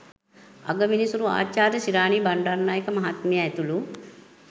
අගවිනිසුරු ආචාර්ය ශිරාණි බණ්‌ඩාරනායක මහත්මිය ඇතුළු